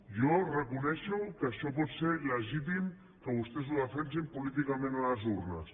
jo reconec que això pot ser legítim que vostès ho defensin políticament a les urnes